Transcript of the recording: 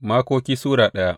Makoki Sura daya